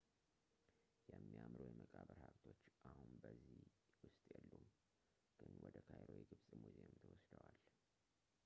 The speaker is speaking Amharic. የሚያምሩ የመቃብር ሀብቶች አሁን በዚህ ውስጥ የሉም ግን ወደ ካይሮ የግብፅ ሙዚየም ተወስዷል